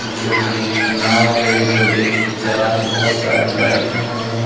जो की नाँव हे जो व्यक्ति चलाते बहुत सारे बैइठे हवे।